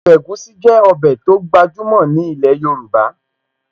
Ọbẹ̀ egusi jẹ́ ọbẹ̀ tó gbajúmọ̀ ní ilẹ̀ Yorùbá